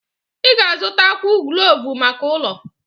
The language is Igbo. Ị ga-azụtakwu kloovu maka ụlọ.